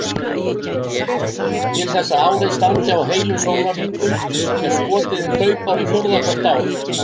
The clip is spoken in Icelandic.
Til þess að árið standi á heilum sólarhringum er skotið inn hlaupári fjórða hvert ár.